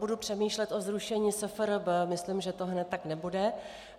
Budu přemýšlet o zrušení SFRB, myslím, že to hned tak nebude.